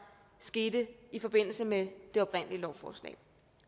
skete i forbindelse med det oprindelige lovforslag